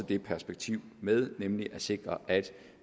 det perspektiv med nemlig at sikre at